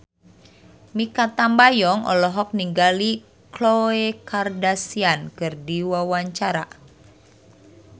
Mikha Tambayong olohok ningali Khloe Kardashian keur diwawancara